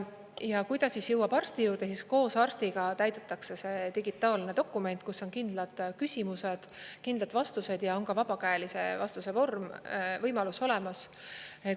Ja kui ta siis jõuab arsti juurde, siis koos arstiga täidetakse see digitaalne dokument, kus on kindlad küsimused, kindlad vastused ja on vabakäelise vastuse võimalus olemas.